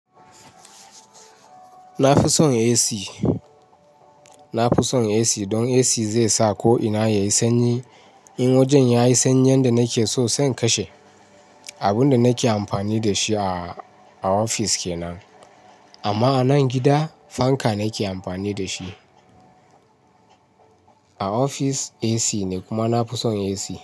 Na fi son AC, don AC zai sa ko'ina yayi sanyi. In wajen yayi sanyi yanda nakeso sai in kashe abunda nake amfani da shi a a ofis kenan anma a nan gida fanka nake amfani dashi. A ofis AC ne kuma na fi son AC.